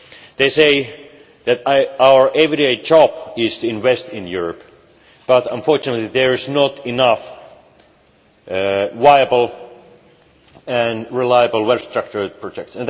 They say that our everyday job is to invest in Europe, but unfortunately there are not enough viable and reliable well structured projects.